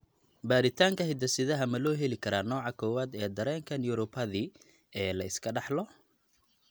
Baaritaanka hidde-sidaha ma loo heli karaa nooca kowaad ee dareenka neuropathy ee la iska dhaxlo?